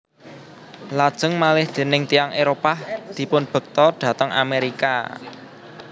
Lajeng malih déning tiyang Éropah dipunbekta dhateng Amerika